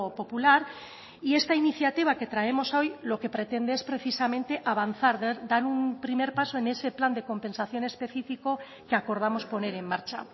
popular y esta iniciativa que traemos hoy lo que pretende es precisamente avanzar dar un primer paso en ese plan de compensación específico que acordamos poner en marcha